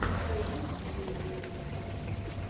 найди интервью оливии стар